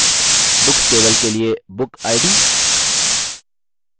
books table के लिए bookid